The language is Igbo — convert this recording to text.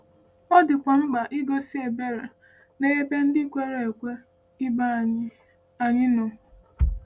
Ọ dịkwa mkpa igosi ebere n’ebe ndị kwere ekwe ibe anyị anyị nọ.